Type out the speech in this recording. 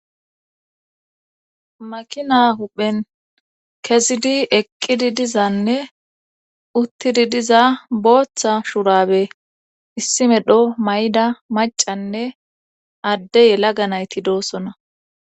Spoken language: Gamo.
makina huphen kezidi eqqidi dizanne uttidi diza booththa shurabe issi medho mayda macanne adde yelaga nayti doossona